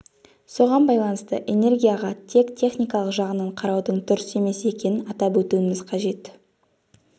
соған байланысты энергияға тек техникалық жағынан қараудың дұрыс емес екенін атап өтуіміз қажет